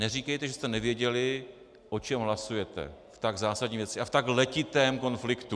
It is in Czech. Neříkejte, že jste nevěděli, o čem hlasujete v tak zásadní věci a v tak letitém konfliktu.